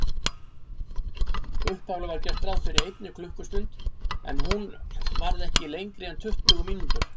Upphaflega var gert ráð fyrir einni klukkustund, en hún varð ekki lengri en tuttugu mínútur.